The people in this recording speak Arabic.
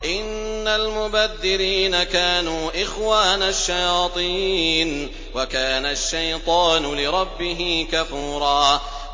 إِنَّ الْمُبَذِّرِينَ كَانُوا إِخْوَانَ الشَّيَاطِينِ ۖ وَكَانَ الشَّيْطَانُ لِرَبِّهِ كَفُورًا